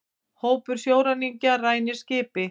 Hópur sjóræningja rænir skipi